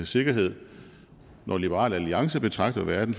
sikkerhed når liberal alliance betragter verden